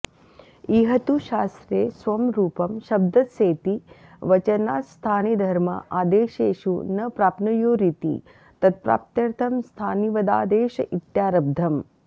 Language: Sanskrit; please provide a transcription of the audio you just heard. इह तु शास्त्रे स्वं रूपं शब्दस्येति वचनात्स्थानिधर्मा आदेशेषु न प्राप्नुयुरिति तत्प्राप्त्यर्थं स्थानिवदादेश इत्यारब्धम्